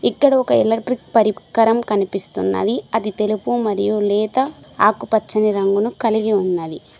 ఇక్కడ ఒక ఎలక్ట్రిక్ పరీకరం కనిపిస్తున్నది అది తెలుపు మరియు లేత ఆకుపచ్చని రంగును కలిగి ఉన్నది.